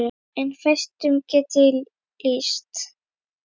En fæstum get ég lýst.